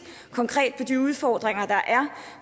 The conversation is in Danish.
konkret på de udfordringer der er